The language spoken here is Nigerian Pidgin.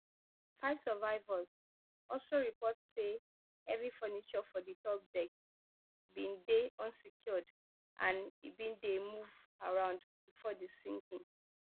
five survivors also report say heavy furniture for di top deck bin dey unsecured and e bin dey move around bifor di sinking